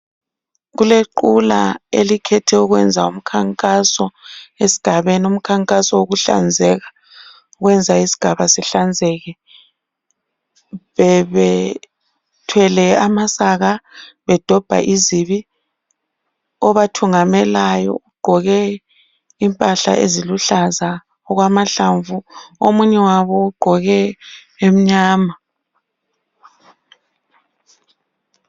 Kulequla elikhethe ukwenza umkhankaso esigabeni, umkhankaso wokuhlanzeka, kwenza isigaba sihlanzeke. Bebethwele amasaka, bedobha izibi. Obathungamelayo ugqoke impahla eziluhlaza okwamahlamvu. Omunye wabo ugqoke emnyama.